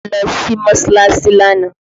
Mo lọ sí Mọ́sọ́láásí lánàá